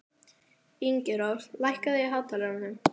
Ingirós, lækkaðu í hátalaranum.